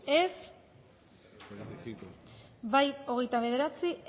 dezakegu bozketaren emaitza onako izan da hirurogeita hamalau eman dugu bozka hogeita bederatzi